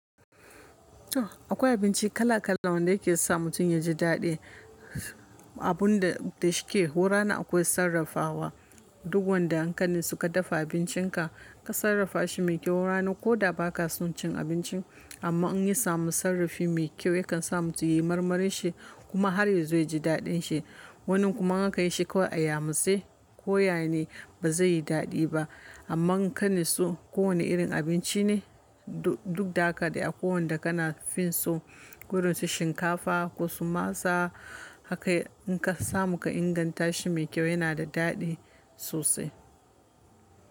Akwai abinci kala kala wanda yake sa mutum ya ji daɗi. Abun da da shike hora na akwai sarrafawa. Duk wanda an kani suka dafa abincinka ka sarrafa shi mai kyau rana ko da ba ka son cin abincin. Amma in ya samu sarrafi mai kyau yakan sa mutum yayi marmarin shi kuma har ya zo ya ji daɗin shi. Wanin kuma in aka yi shi kawai a yamutsai ko yane ba zai yi daɗi ba. Amma in ka natsu ko wane irin abinci ne du duk da haka dai a ko wanda kana fin so. Ko da su shinkafa ko su masa haka in ka samu ka inganta shi mai kyau yana da daɗi sosai.